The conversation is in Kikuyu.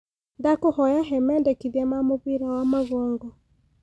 ndakũhoya he mendekithia ma mubira wa magongo